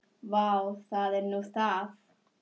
Vá, það er nú það.